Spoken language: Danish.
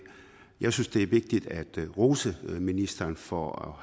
jeg synes at det er vigtigt at rose ministeren for